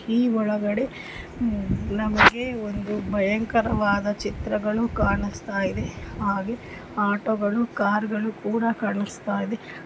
ಈ ಒಳಗಡೆ ಹಮ್ ನಮ್ಗೆ ಒಂದು ಭಯಂಕರವಾದ ಚಿತ್ರಗಳು ಕಾಣಿಸ್ತ ಇದೆ ಹಾಗೆ ಆಟೋ ಗಳು ಕಾರು ಗಳು ಕೂಡ ಕಾಣಿಸುತ್ತಾ ಇದೆ.